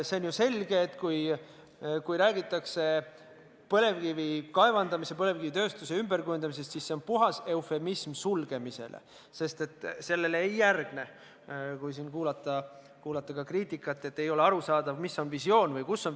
On ju selge, et kui räägitakse põlevkivi kaevandamise, põlevkivitööstuse ümberkujundamisest, siis see on puhas eufemism sulgemisele, sest sellele ei järgne mingit selgitust, mida siis põlevkiviga edaspidi teha võiks.